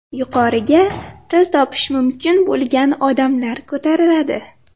Yuqoriga til topish mumkin bo‘lgan odamlar ko‘tariladi.